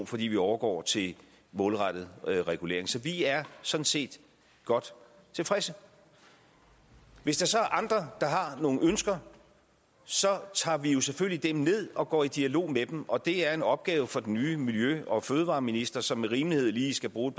fordi man overgår til målrettet regulering så vi er sådan set godt tilfredse hvis der så er andre der har nogle ønsker så tager vi selvfølgelig dem ned og går i dialog og det er en opgave for den nye miljø og fødevareminister som med rimelighed lige skal bruge